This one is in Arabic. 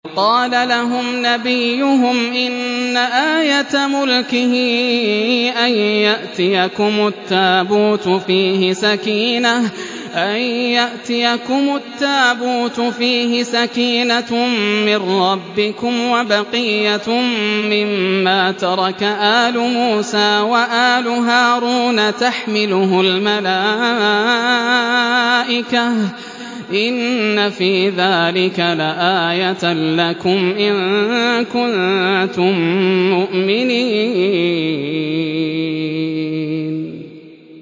وَقَالَ لَهُمْ نَبِيُّهُمْ إِنَّ آيَةَ مُلْكِهِ أَن يَأْتِيَكُمُ التَّابُوتُ فِيهِ سَكِينَةٌ مِّن رَّبِّكُمْ وَبَقِيَّةٌ مِّمَّا تَرَكَ آلُ مُوسَىٰ وَآلُ هَارُونَ تَحْمِلُهُ الْمَلَائِكَةُ ۚ إِنَّ فِي ذَٰلِكَ لَآيَةً لَّكُمْ إِن كُنتُم مُّؤْمِنِينَ